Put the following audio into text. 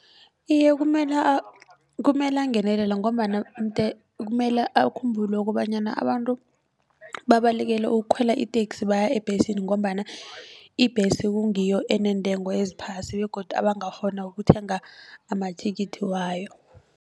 Iye, kumele kumele angenelele ngombana kumele akhumbule kobanyana abantu babalekele ukukhwela iteksi baya ebhesini ngombana ibhesi kungiyo eneentengo eziphasi begodu abangakghona ukuthenga amathikithi wayo.